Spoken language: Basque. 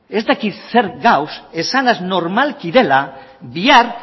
ez dakit zer gauza esanez normalki dela